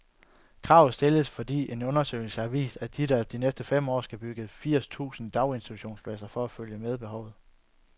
Kravet stilles, fordi en undersøgelse har vist, at der de næste fem år skal bygges firs tusind daginstitutionspladser for at følge med behovet.